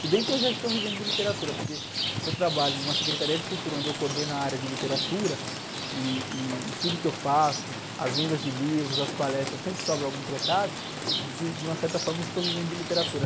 Se bem que eu já estou vivendo de literatura, porque se eu trabalho numa Secretaria de Cultura, onde eu coordeno a área de literatura, e, e, e tudo que eu faço, as vendas de livros, as palestras, sempre sobra algum trocado, de, de uma certa forma eu estou vivendo de literatura.